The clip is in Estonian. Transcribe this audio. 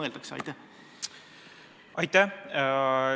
Aitäh!